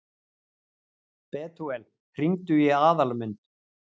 Betúel, hringdu í Aðalmund.